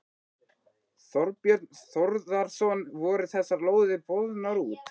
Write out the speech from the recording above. Þorbjörn Þórðarson: Voru þessar lóðir boðnar út?